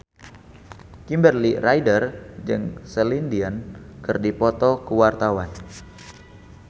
Kimberly Ryder jeung Celine Dion keur dipoto ku wartawan